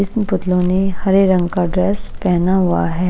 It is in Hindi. इसमे पुतलों ने हरे रंग का ड्रेस पहना हुआ है।